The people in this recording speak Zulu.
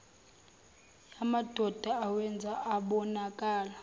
yamadoda iwenza abonakale